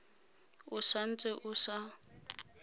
o sa ntse o sa